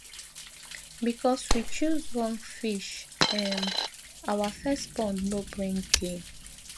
because we choose wrong fish um our first pond no bring gain